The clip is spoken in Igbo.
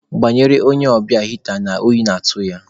Gbanyelụ onye ọbịa hịta na oyi na-atụ ya.